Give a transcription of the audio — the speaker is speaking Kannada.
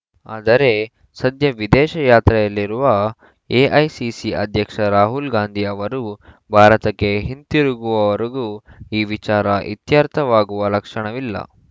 ಆದರೆ ಸದ್ಯ ವಿದೇಶ ಯಾತ್ರೆಯಲ್ಲಿರುವ ಎಐಸಿಸಿ ಅಧ್ಯಕ್ಷ ರಾಹುಲ್‌ ಗಾಂಧಿ ಅವರು ಭಾರತಕ್ಕೆ ಹಿಂತಿರುಗುವವರೆಗೂ ಈ ವಿಚಾರ ಇತ್ಯರ್ಥವಾಗುವ ಲಕ್ಷಣವಿಲ್ಲ